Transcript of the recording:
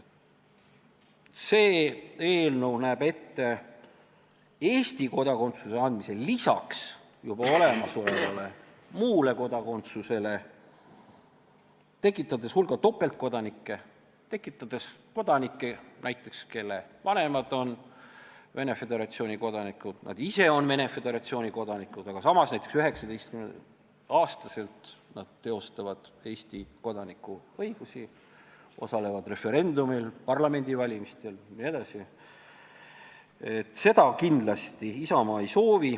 See eelnõu näeb ette Eesti kodakondsuse andmise juba olemasolevale muule kodakondsusele lisaks, tekitades hulga topeltkodanikke, näiteks kodanikke, kelle vanemad on Venemaa Föderatsiooni kodanikud ja kes ise on Venemaa Föderatsiooni kodanikud, aga kes 19-aastaselt teostavad Eesti kodaniku õigusi, osalevad referendumil, parlamendivalimistel jne.